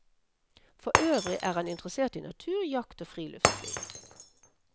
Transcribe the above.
Forøvrig er han interessert i natur, jakt og friluftsliv.